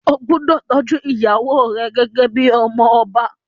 Ó gbúdọ̀ tọ́jú ìyàwó rẹ gẹ́gẹ́ bíi ọmọ ọba.